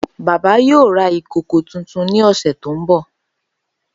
Baba yoo ra ìkòkò tuntun ni ọsẹ to nbọ.